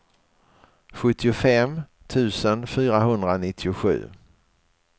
sjuttiofem tusen fyrahundranittiosju